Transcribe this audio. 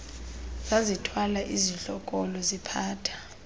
zazithwala izidlokolo ziphatha